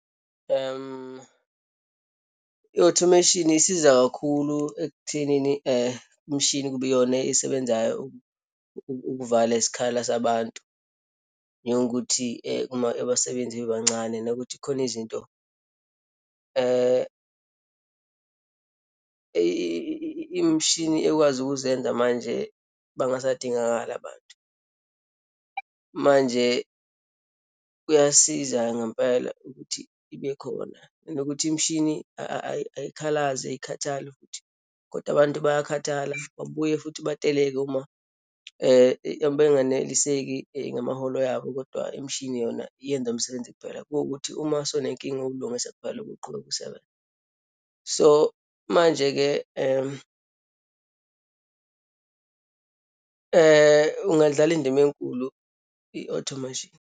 I-automation isiza kakhulu ekuthenini imishini kube iyona esebenzayo ukuvala isikhala sabantu, njengokuthi abasebenzi bebancane nokuthi kukhona izinto imishini ekwazi ukuzenza manje bangasadingakali abantu. Manje kuyasiza ngempela ukuthi ibe khona, nokuthi imishini ayikhalazi, ayikhathali futhi. Kodwa abantu bayakhathala, babuye futhi bateleke, uma benganeliseki ngamaholo yabo. Kodwa imishini yona yenza umsebenzi kuphela, kuwukuthi uma sewunenkinga uwulungise kuphela ubuqhubeka isebenze. So, manje-ke ungadlala indima enkulu i-automation.